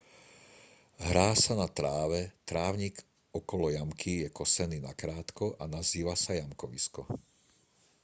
hrá sa na tráve trávnik okolo jamky je kosený nakrátko a nazýva sa jamkovisko